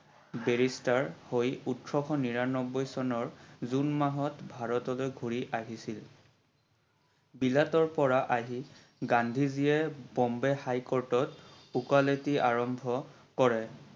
Barrister হৈ তেও উঠৰশ নিৰানব্বৈ চনৰ জুন মাহত ভাৰতলৈ ঘূৰি আহিছিল। বিলাতৰ পৰা আহি গান্ধী জিয়ে Bombay high court ত উকালতি আৰম্ভ কৰে।